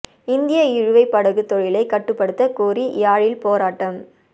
இந்திய இழுவைப் படகு தொழிலை கட்டுப்படுத்த கோரி யாழில் போராட்டம்